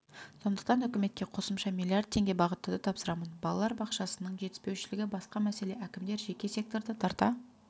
сондықтан үкіметке қосымша миллиард теңге бағыттауды тапсырамын балалар бақшасының жетіспеушілігі басқа мәселе әкімдер жеке секторды тарта